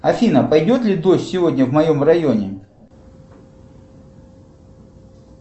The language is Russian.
афина пойдет ли дождь сегодня в моем районе